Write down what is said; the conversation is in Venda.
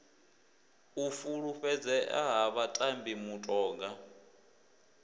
u fulufhedzea ha vhatambi mutoga